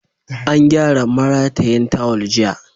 An gyara maratayin tawul jiya.